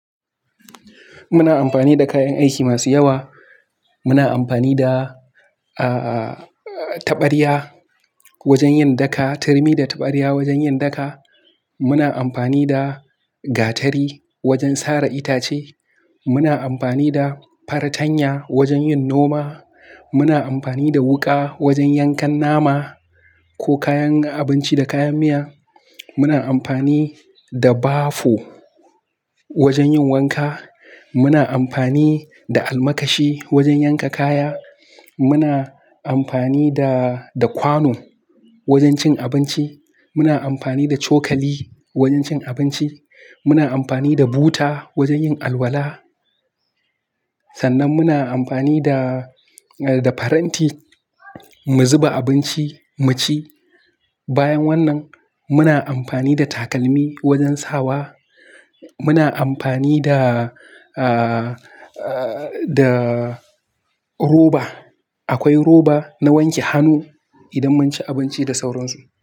Muna amfani da kayan aiki masu yawa. Muna amfani da, ah, taɓarya wajen yin daka, turmi da taɓarya wajen yin daka. Muna amfani da gatari wajen sare itace. Muna amfani da fartanya wajen yin noma. Muna amfani da wuƙa wajen yankan nama ko kayan abinci da kayan miya. Muna amfani da bafo wajen yin wanka. Muna amfani da almakashi wajen yanka kaya. Muna amfani da, da kwano wajen cin abinci. Muna amfani da cokali wajen cin abinci. Muna amfani da buta wajen yin alwala. Sannan muna amfani da, da faranti mu zuba abinci mu ci. Bayan wannan, muna amfani da takalmi wajen sawa. Muna amfani da, ah, da roba. Akwai roba na wanke hannu idan mun ci abinci da sauransu.